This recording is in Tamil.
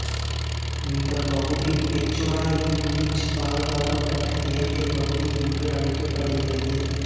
இந்தப் பகுதி பெச்சோராஇல்யீச் பாதுகாக்கப்பட்ட இயற்கைப் பகுதி என்று அழைக்கப்படுகிறது